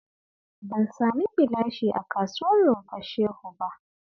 Ban samu gilashi a kasuwar Rumfar Shehu ba